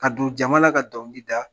Ka don jama la ka dɔnkili da